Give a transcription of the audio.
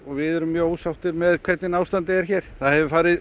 við erum mjög ósáttir með hvernig ástandið er hér það hefur farið